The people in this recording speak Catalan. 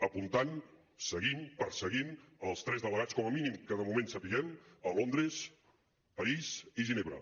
apuntant seguint perseguint els tres delegats com a mínim que de moment sapiguem a londres parís i ginebra